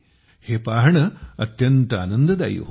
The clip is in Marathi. हे पाहणे अत्यंत आनंददायी होते